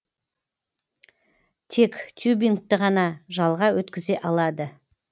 тек тюбингті ғана жалға өткізе алады